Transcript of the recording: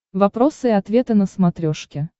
вопросы и ответы на смотрешке